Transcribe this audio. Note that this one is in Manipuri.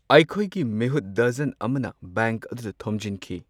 ꯑꯩꯈꯣꯏꯒꯤ ꯃꯤꯍꯨꯠ ꯗꯖꯟ ꯑꯃꯅ ꯕꯦꯡꯛ ꯑꯗꯨꯗ ꯊꯣꯝꯖꯤꯟꯈꯤ꯫